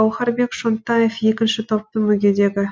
гаухарбек шонтаев екінші топтың мүгедегі